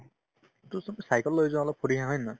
to চোন cycle লৈ যোৱা হ'লে ফুৰি আহা হয়নে নহয়